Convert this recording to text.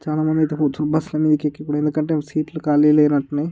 చాలా మంది ఐతే కూర్చో బస్సు ల మీద కెక్కి ఎందుకంటే సీట్ లు కాళీ లేనట్లున్నాయి.